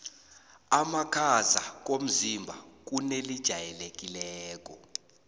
amakhaza komzimba kunelijayelekileko